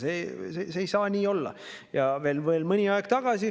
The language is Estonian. See ei saa nii olla!